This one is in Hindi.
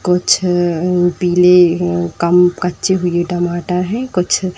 कुछ पीले कम कच्चे हुए टमाटर हैं कुछ --